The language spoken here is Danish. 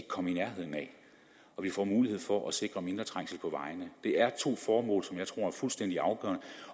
komme i nærheden af og vi får mulighed for at sikre mindre trængsel på vejene det er to formål som jeg tror er fuldstændig afgørende